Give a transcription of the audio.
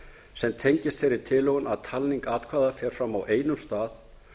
sem tengist þeirri tilhögun að talning atkvæða fer fram á einum stað